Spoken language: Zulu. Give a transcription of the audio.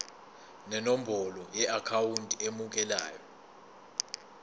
nenombolo yeakhawunti emukelayo